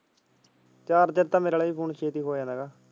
Charger ਤਾਂ ਮੇਰੇ ਆਲਾ ਵੀ phone ਛੇਤੀ ਹੋ ਜਾਂਦਾ ਹੈਗਾ।